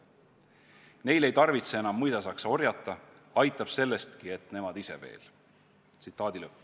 Neil ei tarvitse enam mõisasaksa orjata, aitab sellestki, et nemad ise veel.